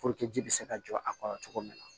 ji bɛ se ka jɔ a kɔrɔ cogo min na